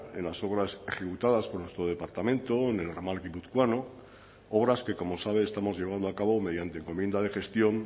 en las obras ejecutadas por nuestro departamento en el ramal guipuzcoano obras que como sabe estamos llevando a cabo mediante encomienda de gestión